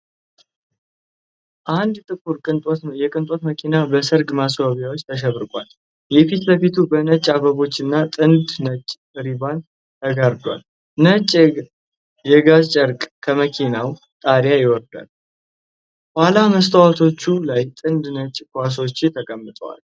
አንድ ጥቁር የቅንጦት መኪና በሠርግ ማስዋቢያዎች ተሽቆጥቁጧል። የፊት ለፊቱ በነጭ አበቦችና ጥንድ ነጭ ሪባን ተጋርዷል፤ ነጭ የጋዝ ጨርቅ ከመኪናው ጣሪያ ይወርዳል። የኋላ መስተዋቶቹ ላይ ጥንድ ነጭ ኳሶች ተጠልቀዋል።